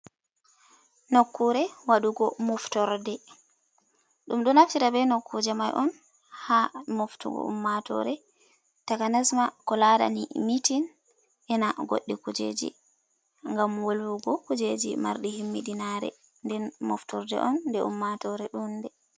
Nokkure Waɗugo Moftorde: Ɗum ɗo naftira be nokkuje mai on ha moftugo ummatore takanas ma ko larani mitin e'na goɗɗi kujeji ngam wolwugo kujeji marɗi himmiɗinare; nden moftorde on nde ummatore ɗuu'nde.